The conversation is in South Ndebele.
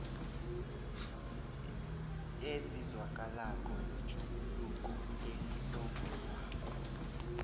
ezizwakalako zetjhuguluko elihlongozwako